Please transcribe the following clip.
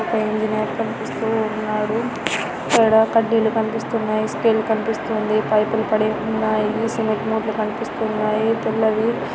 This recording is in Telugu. ఒక ఇంజనీర్ కనిపిస్తూ ఉన్నాడు. కూడా కడ్డీలు కనిపిస్తున్నాయి స్టీల్ కనిపిస్తుంది. పైపులు కట్ చేసి ఉన్నాయి. సిమెంట్ ముటల్ కనిపిస్తున్నాయి తెల్లవి